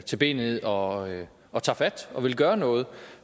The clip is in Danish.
til benet og og tager fat og vil gøre noget